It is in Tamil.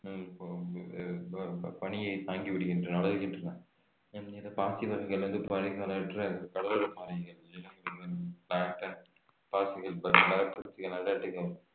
ப~ பனியை தாங்கி விடுகின்றன வளர்கின்றன பனிகளற்ற கடலோர பாறை நிலங்களில் மரபாசிகள் அண்டார்டிகாவில்